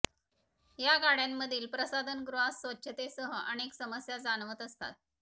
या गाड्यांमधील प्रसाधनगृहात स्वच्छतेसह अनेक समस्या जाणवत असतात